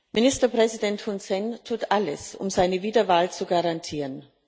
Ministerpräsident Hun Sen tut alles, um seine Wiederwahl zu garantieren.